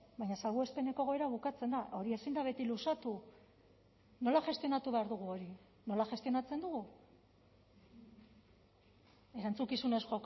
baina salbuespeneko egoera bukatzen da hori ezin da beti luzatu nola gestionatu behar dugu hori nola gestionatzen dugu erantzukizunez